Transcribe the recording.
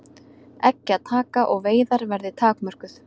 Eggjataka og veiðar verði takmörkuð